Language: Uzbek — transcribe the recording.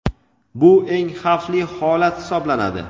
bu eng xavfli holat hisoblanadi.